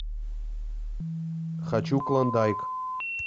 хочу клондайк